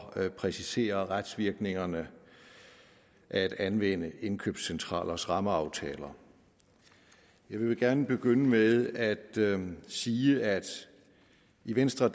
og at præcisere retsvirkningerne af at anvende indkøbscentralers rammeaftaler jeg vil gerne begynde med at sige at i venstre